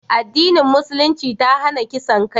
addinin musulunci ta hana kisan kai